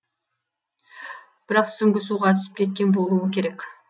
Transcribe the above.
бірақ сүңгі суға түсіп кеткен болуы керек